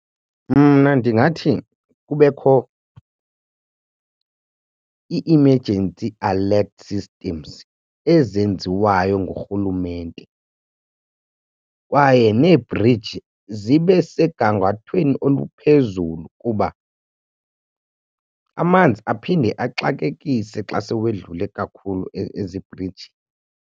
Mna ndingathi kubekho i-emergency alert systems ezenziwayo ngurhulumente kwaye nee-bridge zibe segangathweni oluphezulu kuba amanzi aphinde axakekise xa sewedlule kakhulu ezi bhriji.